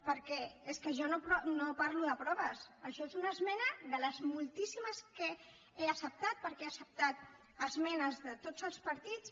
perquè és que jo no parlo de proves això és una esmena de les moltíssimes que he acceptat perquè he acceptat esmenes de tots els partits